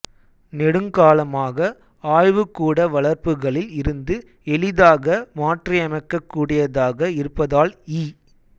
நெடுங்காலமாக ஆய்வுக்கூட வளர்ப்புகளில் இருந்து எளிதாக மாற்றியமைக்கக் கூடியதாக இருப்பதால் ஈ